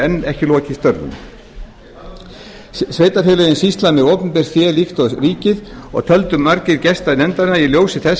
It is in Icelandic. ekki enn lokið störfum sveitarfélögin sýsla með opinbert fé líkt og ríkið og töldu margir gesta nefndarinnar í ljósi þess